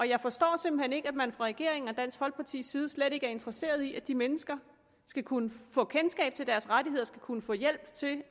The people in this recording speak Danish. jeg forstår simpelt hen ikke at man fra regeringens og dansk folkepartis side slet ikke er interesseret i at de mennesker skal kunne få kendskab til deres rettigheder skal kunne få hjælp til